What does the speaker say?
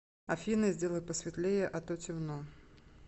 афина сделай посветлее а то темно